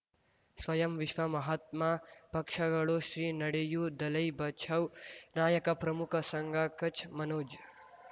ಸ್ವಯಂ ವಿಶ್ವ ಮಹಾತ್ಮ ಪಕ್ಷಗಳು ಶ್ರೀ ನಡೆಯೂ ದಲೈ ಬಚೌ ನಾಯಕ ಪ್ರಮುಖ ಸಂಘ ಕಚ್ ಮನೋಜ್